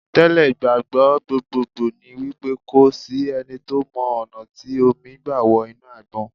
Tẹ́ lẹ̀, ìgbàgbọ́ gbogbogbò ni wípé kò sí ẹni tó mọ ọ̀nà tí omi gbà wọ inú Àgbọn.